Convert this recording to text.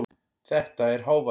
Þetta er hávaði.